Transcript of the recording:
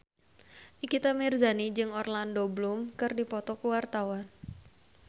Nikita Mirzani jeung Orlando Bloom keur dipoto ku wartawan